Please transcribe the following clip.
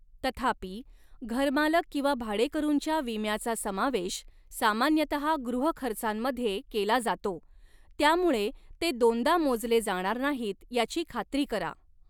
तथापि, घरमालक किंवा भाडेकरूंच्या विम्याचा समावेश सामान्यतः गृहखर्चांमध्ये केला जातो, त्यामुळे ते दोनदा मोजले जाणार नाहीत याची खात्री करा.